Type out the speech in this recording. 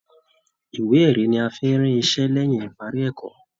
Ìwé erí ní a fí n rí iṣẹ lẹyìn ìparí ẹ̀kọ́.